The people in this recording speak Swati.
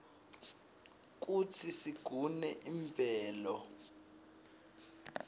kutsi sigune imvelo